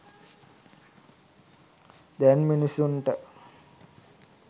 දැන් මිනිසුන්ට